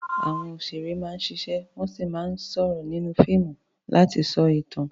Àwọn òṣèré máa ń ṣiṣẹ́ wọ́n sì máa ń sọ̀rọ̀ nínú fíìmù láti sọ ìtàn.